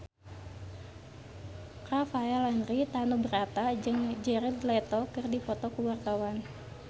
Rafael Landry Tanubrata jeung Jared Leto keur dipoto ku wartawan